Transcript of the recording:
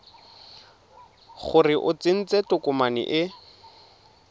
gore o tsentse tokomane e